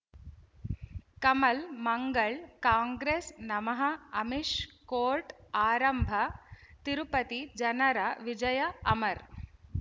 ಕಮಲ್ ಮಂಗಳ್ ಕಾಂಗ್ರೆಸ್ ನಮಃ ಅಮಿಷ್ ಕೋರ್ಟ್ ಆರಂಭ ತಿರುಪತಿ ಜನರ ವಿಜಯ ಅಮರ್